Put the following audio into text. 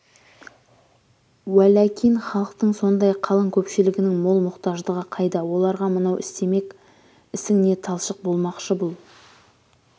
уөләкин халықтың сондай қалың көпшілігінің мол мұқтаждығы қайда оларға мынау істемек ісің не талшық болмақшы бұл